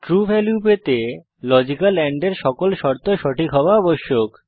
true value পাওয়ার জন্য logical and এর সকল শর্ত সঠিক হওয়া আবশ্যক